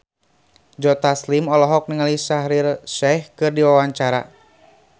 Joe Taslim olohok ningali Shaheer Sheikh keur diwawancara